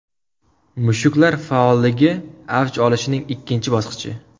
Mushaklar faolligi avj olishining ikkinchi bosqichi.